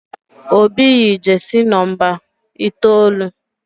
Obi yi jesi nomba itoolu